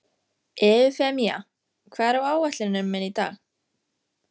Eufemía, hvað er á áætluninni minni í dag?